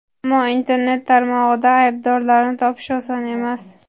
Ammo internet tarmog‘ida aybdorlarni topish oson emas.